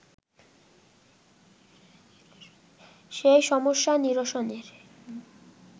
সেই সমস্যা নিরসনের